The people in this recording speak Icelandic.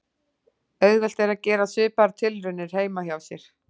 Auðvelt er að gera svipaðar tilraunir heima hjá sér.